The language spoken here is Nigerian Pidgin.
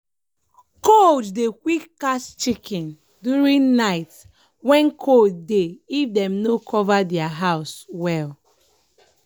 cold dey quick catch chicken during night when cold dey if dem no cover their house well.